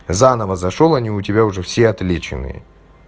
заново зашёл они у тебя уже все отличные